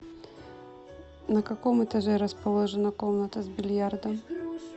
на каком этаже расположена комната с бильярдом